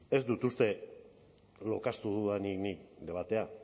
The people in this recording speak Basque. ez dut uste lokaztu dudanik nik debatea